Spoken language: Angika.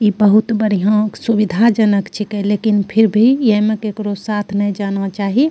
इ बहुत बढ़ियां सुविधाजनक छके लेकिन फिर भी यें में केकरो साथ नाय जाना चाही।